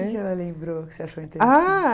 que ela lembrou que você achou